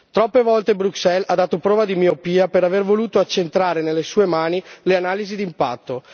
Troppe volte Bruxelles ha dato prova di miopia per aver voluto accentrare nelle sue mani le analisi d'impatto.